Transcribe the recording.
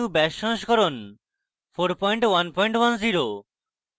gnu bash সংস্করণ 4110